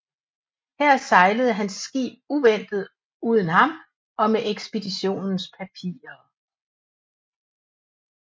Her sejlede hans skib uventet uden ham og med ekspeditionens papirer